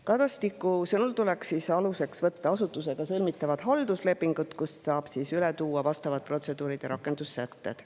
Kadastiku sõnul tuleks aluseks võtta asutusega sõlmitavad halduslepingud, kust saab üle tuua vastavad protseduurid ja rakendussätted.